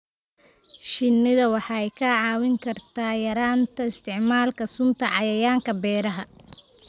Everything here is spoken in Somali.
Shinnidu waxay kaa caawin kartaa yaraynta isticmaalka sunta cayayaanka beeraha.